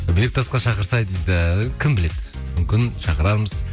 берікті асқа шақырсай дейді кім біледі мүмкін шақырамыз